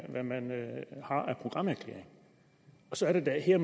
programerklæring så er det da her